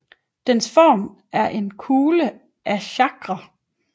Dens form er en blå kugle af Chakra